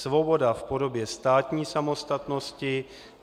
Svoboda v podobě státní samostatnosti.